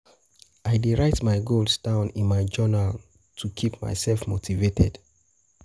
I dey write my goals down in my journal to keep myself motivated.